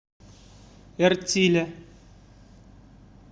эртиля